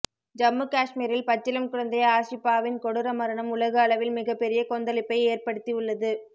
ஜம்மு காஷ்மீரில் பச்சிளம் குழந்தை ஆஷிபாவின் கொடூர மரணம் உலக அளவில் மிகப்பெரிய கொந்தளிப்பை ஏற்ப்படுத்தி உள்ளது